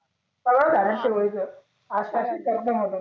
सराव झाल्या नंतर होईल पण आज त्यातली त्यात दमवलं